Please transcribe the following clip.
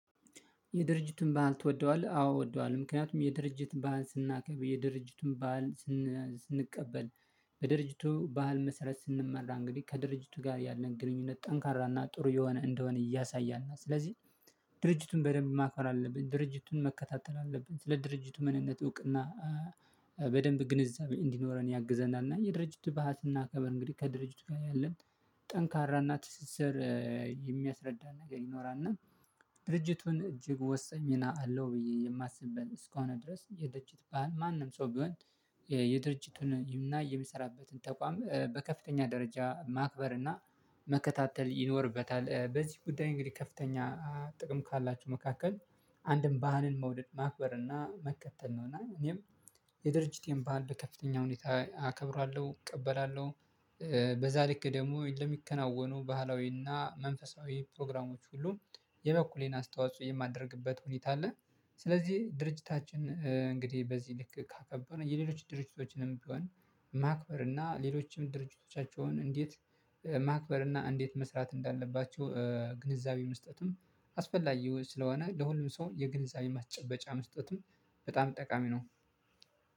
የድርጅቱን በህል ትወደዋለህ? አዎ ወደዋለሁ ምክንያቱም የድርጅት ባህል ስናከብር የድርጅቱን ባህል ስንቀበል በድርጅቱ ባህል መሰረት ስንመራ እንግዲህ ከድርጅቱ ጋር ያለን ግንኙነት ጠንካራና ጥሩ የሆነ እንደሆነ እያሳያና ስለዚህ ድርጅቱን በደንብ ማክበር አለብን ድርጅቱን መከታተል አለብን ስለ ድርጅቱ ምንነት እውቅና በደንብ ግንዛቤ እንዲኖረን ያግዘናል እና የድርጅቱ ባህል ስናከብር እንግዲህ ከድርጅቱ ጋር ያለን ጠንካራና ትስስር የሚያስረዳን ነገር ይኖራል እና ድርጅቱን እጅግ ወሰኝ ሚና አለው። ብዬ የማስብበት እስከሆነ ድረስ የድርጅት ማንም ሰው ቢሆን የድርጅቱን ይምናይ የሚሰራበትን ተቋም በከፍተኛ ደረጃ ማክበር እና መከታተል ይኖርበታል። በዚህ ጉዳይ እንግዲህ ከፍተኛ ጥቅም ካላችሁ መካከል አንድን ባህልን መውደድ ማክበር እና መከተል ነው እና እኔም የድርጅቴን ባህል በከፍተኛ ሁኔታ አከብራለሁ እቀበላለሁ። በዛ ልክ ደግሞ ለሚከናወኑ ባህላዊና መንፈሳዊ ፕሮግራሞች ሁሉ የበኩሌን አስተዋጽኦ የማደርግበት ሁኔታ አለ። ስለዚህ ድርጅታችን እንግዲህ በዚህ ልክ ካከበርን የሌሎች ድርጅቶችንም ቢሆን ማክበር እና ሌሎችም ድርጅቶቻቸውን እንዴት ማክበር እና እንዴት መስራት እንዳለባቸው ግንዛቤ መስጠትም አስፈላጊዎች ስለሆነ ለሁሉም ሰው የግንዛቤ ማስጨበጫ መስጠትም በጣም ጠቃሚ ነው